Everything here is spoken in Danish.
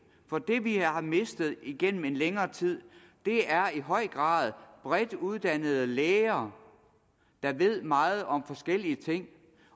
for det vi har mistet gennem en længere tid er i høj grad bredt uddannede læger der ved meget om forskellige ting